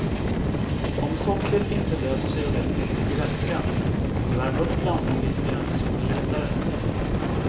Om sockret inte löser sig ordentligt i vätskan kan du värma upp blandningen lite grann så går det lättare.